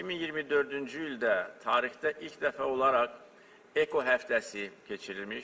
2024-cü ildə tarixdə ilk dəfə olaraq EKO həftəsi keçirilmiş.